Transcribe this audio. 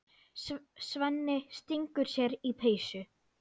Svenni stingur sér í peysu.